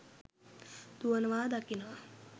දුවනවා දකිනවා